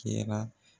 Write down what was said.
Kɛra